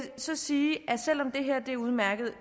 så sige at selv om det her er udmærket